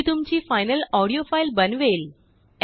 हे तुमचीफ़ाइनल audio file बनवेल